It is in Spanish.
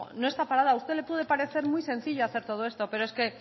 no está parada a usted le puede parecer muy sencillo hacer todo esto pero es que